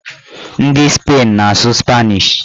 Ndị Spain na-asụ spanish